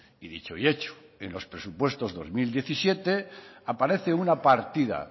y dicho y hecho en los presupuestos dos mil diecisiete aparece una partida